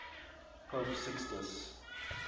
pope sixtus